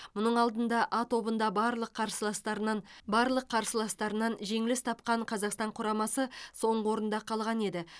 мұның алдында а тобында барлық қарсыластарынан барлық қарсыластарынан жеңіліс тапқан қазақстан құрамасы соңғы орында қалған еді